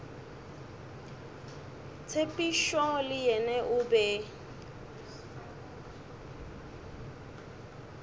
tshepišo le yena o be